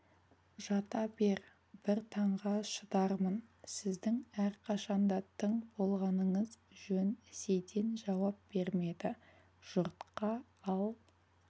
жата бер бір таңға шыдармын сіздің әрқашан да тың болғаныңыз жөн сейтен жауап бермеді жұртқа ал